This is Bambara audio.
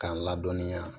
K'an ladɔnniya